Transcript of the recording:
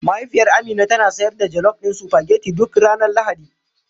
Mahaifiyar Amina tana sayar da jelof ɗin supageti duk ranar Lahadi.